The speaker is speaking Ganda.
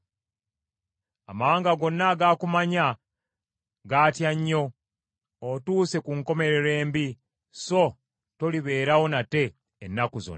Amawanga gonna agaakumanya gaatya nnyo; otuuse ku nkomerero embi, so tolibeerawo nate ennaku zonna.’ ”